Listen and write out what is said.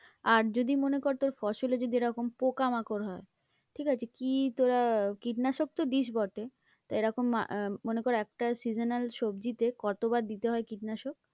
আর যদি মনে কর তোর ফসলে এরকম পোকামাকড় হয় ঠিক আছে কি তোরা কীটনাশক তো দিস বটে, তা এরকম আহ মনে কর একটা seasonal সবজিতে কতবার দিতে হয় কীটনাশক?